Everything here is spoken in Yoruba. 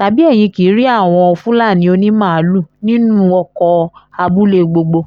tàbí ẹ̀yin kì í rí àwọn fúlàní onímaalùú nínú ọkọ̀ abúlé gbogbo